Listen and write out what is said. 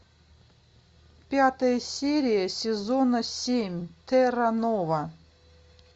пятая серия сезона семь терра нова